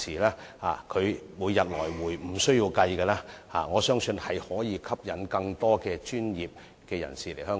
若即日來回便無須計算，我相信亦可以吸引更多專業人士來港。